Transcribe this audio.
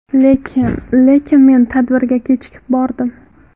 Lekin… Lekin men tadbirga kechikib bordim.